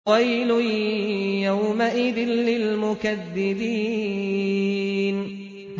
وَيْلٌ يَوْمَئِذٍ لِّلْمُكَذِّبِينَ